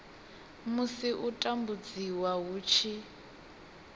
musi u tambudziwa hu tshi